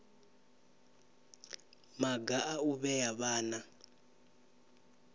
maga a u vhea vhana